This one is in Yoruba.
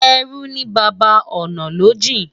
Ẹrú ní baba, ọ̀nà ló jìn.